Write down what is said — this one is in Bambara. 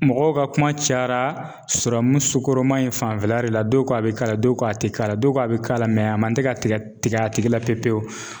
Mɔgɔw ka kuma cayara su kɔrɔma in fanfɛla de la don ko a bɛ k'a la dɔw ko a tɛ k'a la dɔw ko a bɛ k'a la mɛ a man tɛ ka tigɛ a tigi la pewu pewu.